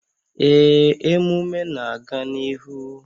Ee, emume a na-aga n'ihu